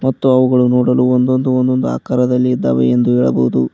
ಮತ್ತು ಅವುಗಳು ನೋಡಲು ಒಂದೊಂದು ಒಂದೊಂದು ಆಕಾರದಲ್ಲಿ ಇದ್ದಾವೆ ಎಂದು ಹೇಳಬಹುದು.